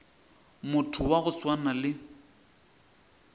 motho wa go swana le